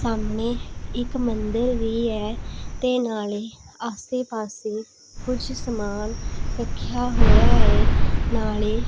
ਸਾਹਮਣੇ ਇੱਕ ਮੰਦਰ ਵੀ ਹੈ ਤੇ ਨਾਲੇ ਆਸੇ ਪਾਸੇ ਕੁਝ ਸਮਾਨ ਰੱਖਿਆ ਹੋਇਆ ਹੈ ਨਾਲੇ --